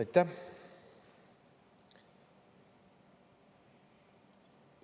Aitäh!